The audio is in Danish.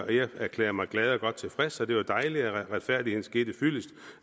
jeg erklærede mig glad og godt tilfreds og det var dejligt at retfærdigheden skete fyldest